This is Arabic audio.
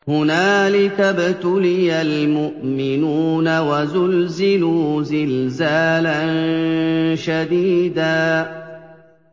هُنَالِكَ ابْتُلِيَ الْمُؤْمِنُونَ وَزُلْزِلُوا زِلْزَالًا شَدِيدًا